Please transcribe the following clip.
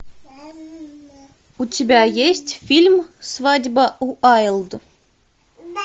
у тебя есть фильм свадьба уайлд